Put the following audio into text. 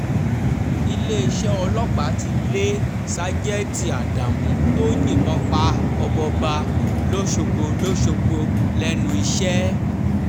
iléeṣẹ́ ọlọ́pàá ti lé ṣàjètì ádámù tó yìnbọn pa ọmọọba lọ́sọ̀gbò lọ́sọ̀gbò lẹ́nu iṣẹ́